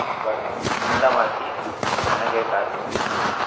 But শুনলাম আর কি অনেকের কাছ থেকেই যে